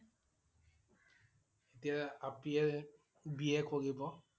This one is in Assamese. এতিয়া আপিয়ে BA কৰিব।